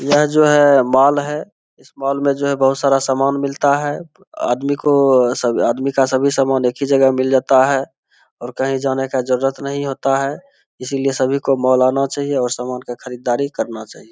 यह जो है मॉल है इस मॉल में जो है बहुत सारा सामान मिलता है आदमी को आदमी का सभी सामान एक ही जगह मिल जाता है और कही जाने का जरूरत नहीं होता है इसलिए सभी को मॉल आना चाहिए और सामान का खरीददारी करना चाहिए।